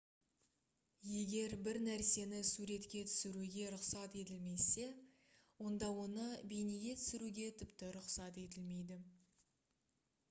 егер бір нәрсені суретке түсіруге рұқсат етілмесе онда оны бейнеге түсіруге тіпті рұқсат етілмейді